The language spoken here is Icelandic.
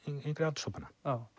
yngri aldurshópana